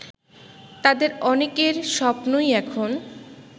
তাদের অনেকের স্বপ্নই এখন